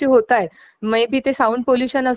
जशा ह्या गोष्टी आपल्याकडून कमी होतील